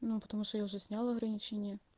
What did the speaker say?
потому что я уже снял ограничение